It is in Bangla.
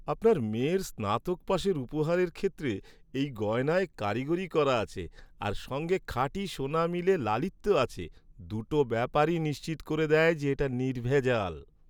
আপনার মেয়ের স্নাতক পাশের উপহারের ক্ষেত্রে এই গয়নায় কারিগরি করা আছে আর সঙ্গে খাঁটি সোনা মিলে লালিত্য আছে, দুটো ব্যাপারই নিশ্চিত করে দেয় যে এটা নির্ভেজাল।